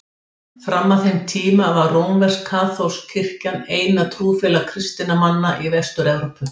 Fram að þeim tíma var rómversk-katólska kirkjan eina trúfélag kristinna manna í Vestur-Evrópu.